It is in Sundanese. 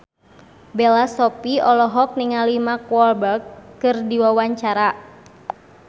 Bella Shofie olohok ningali Mark Walberg keur diwawancara